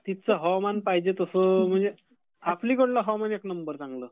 आपलीकडील हवामान एक नंबर चांगलं.